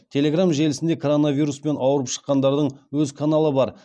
телеграм желісінде коронавируспен ауырып шыққандардың өз каналы бар